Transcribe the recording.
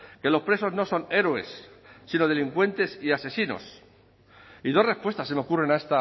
que los presos no son héroes sino delincuentes y asesinos y dos respuestas se me ocurren a